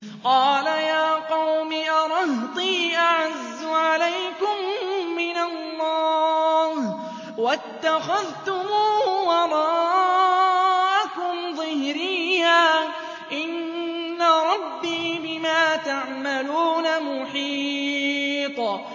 قَالَ يَا قَوْمِ أَرَهْطِي أَعَزُّ عَلَيْكُم مِّنَ اللَّهِ وَاتَّخَذْتُمُوهُ وَرَاءَكُمْ ظِهْرِيًّا ۖ إِنَّ رَبِّي بِمَا تَعْمَلُونَ مُحِيطٌ